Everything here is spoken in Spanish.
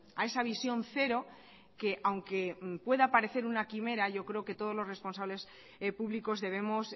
a esa visión cero que aunque pueda parecer una quimera yo creo que todos los responsables públicos debemos